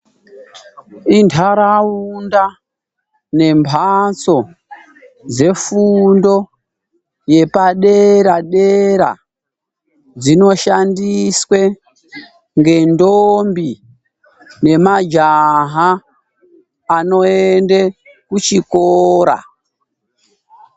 Intaraunda nembatso dzefundo yepadera dera dzinoshandiswe ngendombi ngemajaha anoende kuchikora.